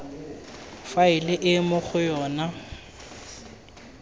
faele e mo go yona